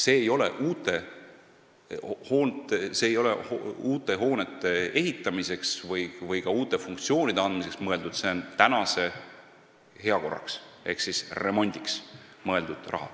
See raha ei ole uute hoonete ehitamiseks või uute funktsioonide loomiseks mõeldud, see on olemasolevate hoonete heakorrastamiseks ehk remondiks mõeldud raha.